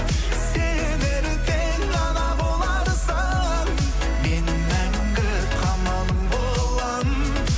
сен ертең ана боларсың мен мәңгі қамалың боламын